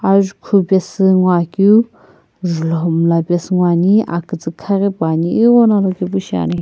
ajukhu paesu nguo keu julo miila pasu nguo ane akiitsii khaghi pupane agho no alokae pu shiane.